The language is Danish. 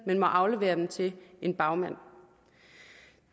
men må aflevere den til en bagmand